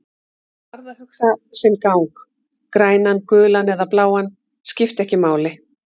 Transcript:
Hann varð að hugsa sinn gang, grænan, gulan eða bláan, skipti ekki máli.